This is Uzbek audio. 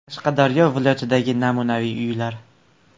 Qashqadaryo viloyatidagi namunaviy uylar.